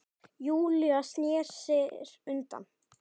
Júlía snýr sér undan.